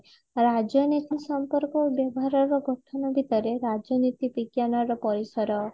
ରାଜନୀତି ସମ୍ପର୍କ ଓ ବ୍ୟବହାର ର ଗଠନ ଭୀତରେ ରାଜନୀତି ବିଜ୍ଞାନ ର ପରିସର